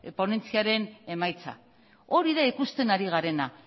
ponentziaren emaitza hori da ikusten ari garena